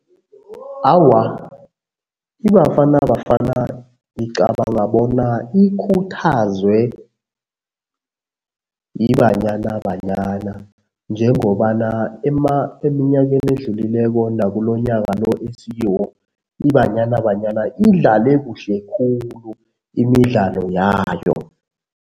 Awa, iBafana Bafana ngicabanga bona ikhuthazwe yiBanyana Banyana njengobana eminyakeni edlulileko nakulonyoka lo esikiwo, iBanyana Banyana idlale kuhle khulu imidlalo yayo.